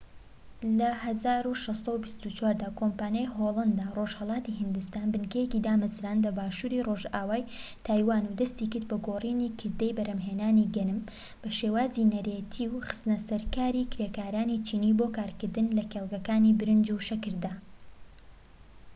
لە ١٦٢٤ دا کۆمپانیای هۆڵەندا ڕۆژهەڵاتی هیندستان بنکەیەکی دامەزراند لە باشووری ڕۆژئاوای تایوان و دەستی کرد بە گۆڕینی کردەی بەرهەمهێنانی گەنم بە شێوازی نەریتی و خستنەسەرکاری کرێکارانی چینی بۆ کارکردن لە کێڵگەکانی برنج و شەکردا